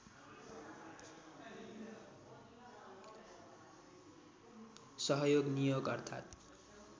सहयोग नियोग अर्थात्